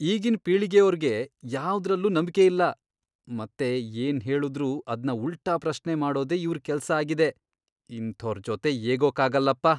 ಈಗಿನ್ ಪೀಳಿಗೆಯೋರ್ಗೆ ಯಾವ್ದ್ರಲ್ಲೂ ನಂಬ್ಕೆಯಿಲ್ಲ ಮತ್ತೆ ಏನ್ ಹೇಳುದ್ರೂ ಅದ್ನ ಉಲ್ಟಾ ಪ್ರಶ್ನೆ ಮಾಡೋದೇ ಇವ್ರ್ ಕೆಲ್ಸ ಆಗಿದೆ, ಇಂಥೋರ್ ಜೊತೆ ಏಗೋಕ್ಕಾಗಲ್ಲಪ್ಪ.